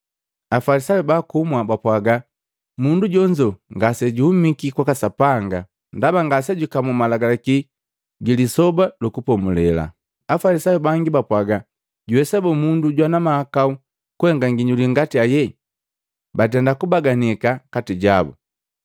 Afalisayu baakumwa bapwaga, “Mundu jonzo ngasejuhumiki kwaka Sapanga ndaba ngasejukamu Malagalaki ji Lisoba lu Kupomulela.” Afalisayu bangi bapwaga, “Juwesa boo mundu jwana mahakau kuhenga nginyuli ngati heje?” Batenda kubaganika kati jabu.